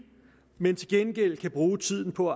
men til gengæld kan bruge tiden på